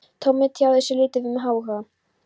Tommi tjáði sig lítið um áhuga